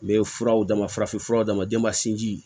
N bɛ furaw d'a ma farafinfura dama jɛmasin ji